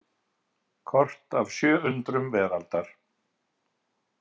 Kort af sjö undrum veraldar.